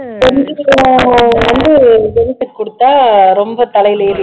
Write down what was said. கொடுத்தா ரொம்ப தலையில ஏறி